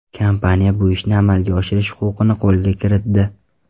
Kompaniya bu ishni amalga oshirish huquqini qo‘lga kiritdi.